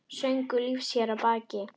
Söngur lífs hér að baki.